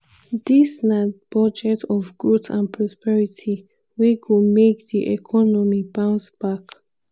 "dis na budget of growth and prosperity wey go make di economy bounce back."